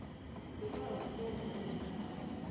isibawo semvumo yomuntu